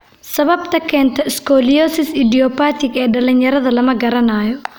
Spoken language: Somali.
Sababta keenta scoliosis idiopathic ee dhalinyarada lama garanayo.